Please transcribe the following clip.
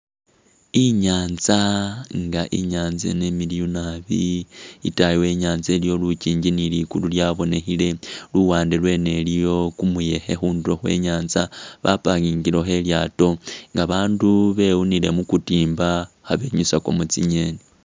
Inyanza nga inyanza ino imiliyu naabi itaayi we'nyanza iliyo lunkinji ni ligulu lyabonekhile luwande lweno iliyo kumuyekhe khundulo khwe nyanza ba'parkingilekho lilyato nga bandu bewunile mubutimba khabenyusakamo tsi'ngeni